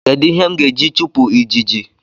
Kedu ihe m ga-eji chupụ ijiji?